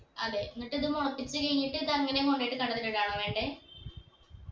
അതെ എന്നിട്ട് ഇത് മുളപ്പിച്ച് കഴിഞ്ഞിട്ട് ഇതങ്ങനെ കൊണ്ടോയ്ട്ട് കണ്ടത്തിൽ ഇടാണോ വേണ്ടേ